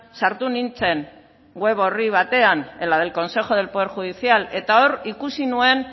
sartu nintzen web orri batean en la del consejo del poder judicial eta hor ikusi nuen